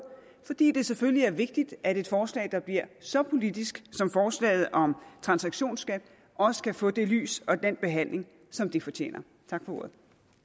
fordi det selvfølgelig er vigtigt at et forslag der bliver så politisk som forslaget om transaktionsskat også kan få det lys og den behandling som det fortjener tak for ordet